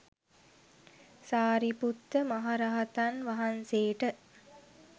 සාරිපුත්ත මහරහතන් වහන්සේට